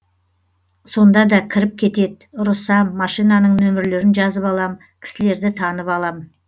сонда да кіріп кетет ұрысам машинаның нөмірлерін жазып алам кісілерді танып алам